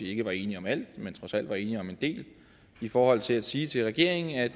ikke var enige om alt men trods alt var enige om en del i forhold til sige til regeringen at